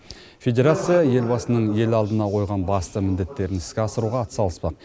федерация елбасының ел алдына қойған басты міндеттерін іске асыруға атсалыспақ